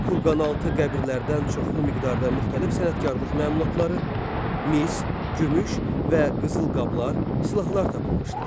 Kurqanaltı qəbirlərdən çoxlu miqdarda müxtəlif sənətkarlıq məmulatları, mis, gümüş və qızıl qablar, silahlar tapılmışdır.